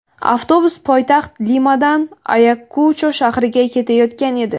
Avtobus poytaxt Limadan Ayakucho shahriga ketayotgan edi.